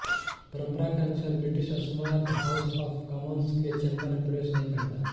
परंपरा के अनुसार ब्रिटिश सम्राट हाउस ऑफ कॉमंस के चैंबर में प्रवेश नहीं करता